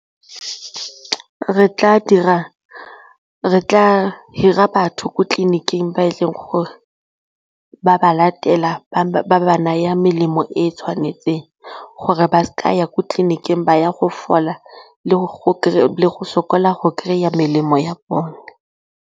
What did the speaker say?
Re tla hira batho ko tleliniking ba e leng gore ba ba latela ba naya melemo e e tshwanetseng gore ba seka ya ko tleliniking ba ya go fola le go sokola go kry-a melemo ya bone.